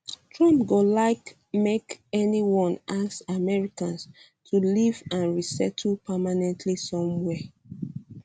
trump go like make anyone ask americans to leave and resettle permanently somewhere